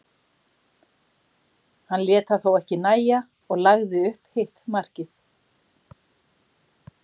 Hann lét það þó ekki nægja og lagði upp hitt markið.